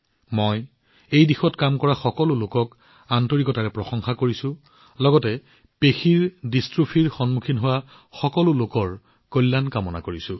মই এই দিশত চেষ্টা কৰি থকা সকলো লোকক হৃদয়েৰে প্ৰশংসা কৰিছো লগতে মাস্কুলাৰ ডিষ্ট্ৰোফিত ভুগি থকা সকলো লোকৰ আৰোগ্যৰ বাবে শুভকামনা জনাইছো